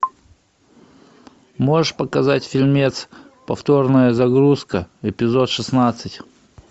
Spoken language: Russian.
можешь показать фильмец повторная загрузка эпизод шестнадцать